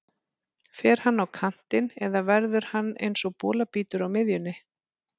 Fer hann á kantinn eða verður hann eins og bolabítur á miðjunni?